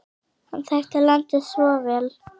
Hann þekkti landið svo vel.